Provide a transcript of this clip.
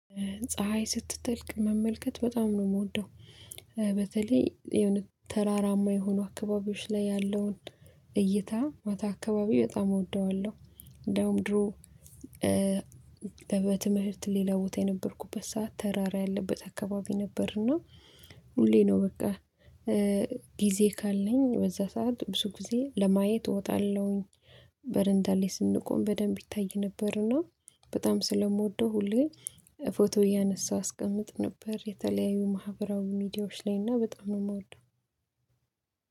ፀሀይ ስትጠልቅ መመልከት በጣም ነው ምወደው በተለይ የሆነ ተራራማ የሆኑ አካባቢዎች ላይ ያለውን እይታ ማታ አካባቢ በጣም እወደዋለሁ። እንደውም ድሮ በትምህርት ሌላ ቦታ የነበርኩበት ሰዓት ተራራ ያለበት አካባቢ ነበርና ሁሌ ነው በቃ ጊዜ ካለኝ በዛ ሰዓት ብዙ ጊዜ ለማየት እወጣለሁኝ። በረንዳ ላይ ስንቆም በደንብ ይታይ ነበርና። በጣም ስለምወደው ሁሌ ፎቶ እያነሳሁ አስቀምጥ ነበር። የተለያዩ ማህበራዊ ሚዲያዎች ላይ እና በጣም ነው የምወደው።